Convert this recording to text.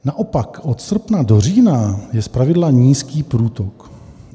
Naopak od srpna do října je zpravidla nízký průtok.